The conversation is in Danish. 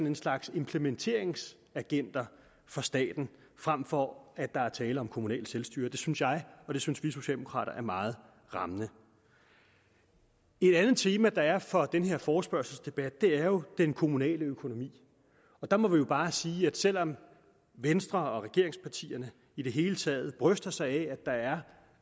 en slags implementeringsagenter for staten frem for at der er tale om kommunalt selvstyre det synes jeg og det synes vi socialdemokrater er meget rammende et andet tema der er for den her forespørgselsdebat er jo den kommunale økonomi der må vi bare sige at selv om venstre og regeringspartierne i det hele taget bryster sig af